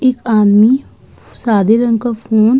एक आदमी सादे रंग का फोन --